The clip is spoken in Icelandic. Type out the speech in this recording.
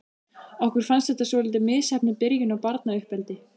Okkur fannst þetta svolítið misheppnuð byrjun á barnauppeldi.